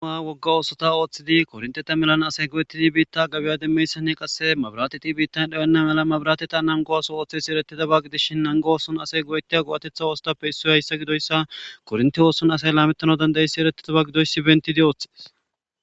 Ama wogga oosota ooththidi kornteta melan asay go'etidi biitta gabiya demmeyssanne qasse mabiraateti biittan dhayonna mala mabirateta nango aso ooththesi eretidaba gidishin nango ooson asay goyettiya go'atetha oosotappe issoy hayssa gidoyssa korinti ooson asay laamettana dandayissi erettedaba gidoyssi bentidi ooththees.